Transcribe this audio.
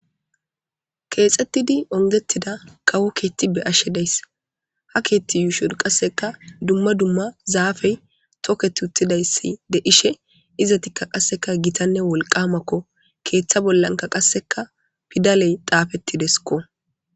Kexxettidi unnigetida kawo keththa be'ashshe dayiss.haa keththa ushshonni qasekka dumma dumma zafeyi toketti uttidayissa de'ishshe izetti qasekka gitanne wolqamakko.keththa bolla qasekka pidaleyi xaafettidesikko.